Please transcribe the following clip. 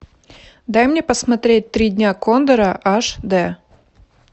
дай мне посмотреть три дня кондора аш д